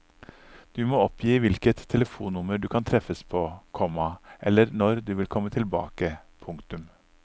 Du må oppgi hvilket telefonnummer du kan treffes på, komma eller når du vil komme tilbake. punktum